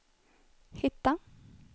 hitta